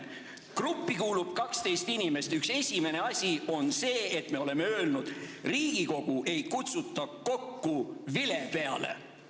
" Gruppi kuulub 12 inimest ja üks esimene asi on see, et me oleme öelnud: Riigikogu ei kutsuta kokku vile peale.